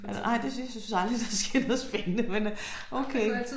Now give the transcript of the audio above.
Nej det synes jeg synes aldrig der sker noget spændende men øh okay